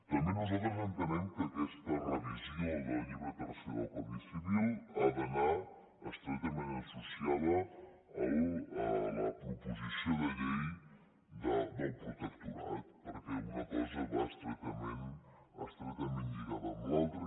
també nosaltres entenem que aquesta revisió del llibre tercer del codi civil ha d’anar estretament associada a la proposició de llei del protectorat perquè una cosa va estretament lligada amb l’altra